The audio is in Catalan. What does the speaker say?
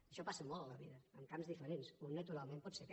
això passa molt a la vida en camps diferents un naturalment pot ser aquest